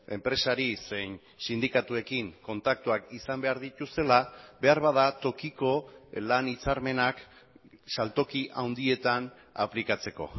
enpresari zein sindikatuekin kontaktuak izan behar dituztela beharbada tokiko lan hitzarmenak saltoki handietan aplikatzeko